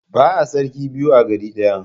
Ba'a sarki biyu a gari ɗaya.